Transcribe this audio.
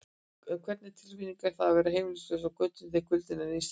En hvernig tilfinning er það að vera heimilislaus á götunni, þegar kuldinn er nístandi?